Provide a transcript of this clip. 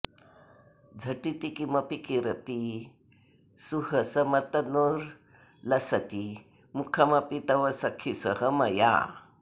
झटिति किमपि किरति सुहसमतनुर्लसति मुखमपि तव सखि सह मया